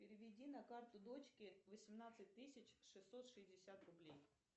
переведи на карту дочке восемнадцать тысяч шестьсот шестьдесят рублей